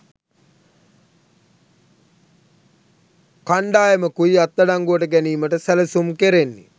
කණ්ඩායමකුයි අත්අඩංගුවට ගැනීමට සැලසුම් කෙරෙන්නේ